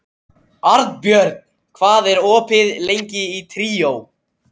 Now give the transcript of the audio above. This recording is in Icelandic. Arnbjörn, hvað er opið lengi í Tríó?